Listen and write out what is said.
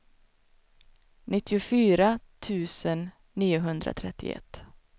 nittiofyra tusen niohundratrettioett